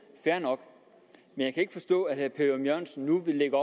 fair nok men jeg kan ikke forstå at herre per ørum jørgensen nu vil lægge